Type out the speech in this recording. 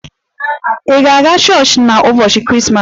Ị ga-aga chọọchị n'ụbọchị Krismas?